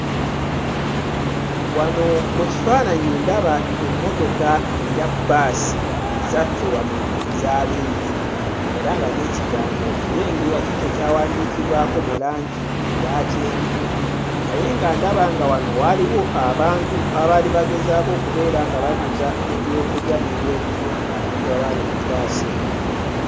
Wano mu kifaananyi ndaba emmotoka eya bbaasi ezaffe wano eza link era nga n'ekigambo okirengera kiikyo kyawandiikibwako mu langi eya kyenvu naye nga ndaba nga wano waaliwo abantu abaali bagezaako okubeera nga baguza ebyokulya n'ebyokunywa abantu abaali mu bbaasi eno.